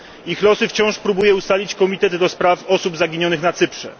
Ich losy wciąż próbuje ustalić Komitet ds. Osób Zaginionych na Cyprze.